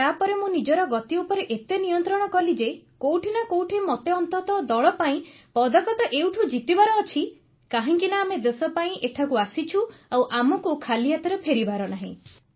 ତାପରେ ମୁଁ ନିଜର ଗତି ଉପରେ ଏତେ ନିୟନ୍ତ୍ରଣ କଲି ଯେ କୋଉଠି ନା କୋଉଠି ମତେ ଅନ୍ତତଃ ଦଳ ପାଇଁ ପଦକ ତ ଏଇଠୁ ଜିତିବାର ଅଛି କାହିଁକିନା ଆମେ ଦେଶପାଇଁ ଏଠାକୁ ଆସିଛୁ ଆଉ ଆମକୁ ଖାଲି ହାତରେ ଫେରିବାର ନାହିଁ